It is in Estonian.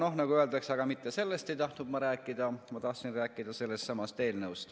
Aga nagu öeldakse, siis mitte sellest ei tahtnud ma rääkida, vaid ma tahtsin rääkida sellestsamast eelnõust.